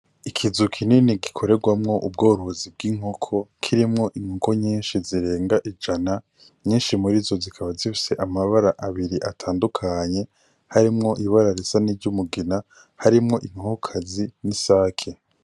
Ikizu kinini gikorerwamwo ubworozi bw'inkoko kirimwo inkoko nyishi zirenga ijana nyishi murizo zikaba zifise amabara abiri atandukanye harimwo ibara risa n'iryumugina harimwo inkoko kazi n'isaki.